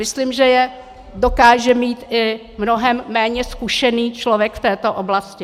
Myslím, že je dokáže mít i mnohem méně zkušený člověk v této oblasti.